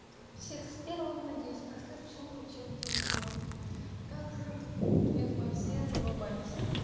всех с первым надеюсь прошедшем учебном днём как же я думаю все за улыбались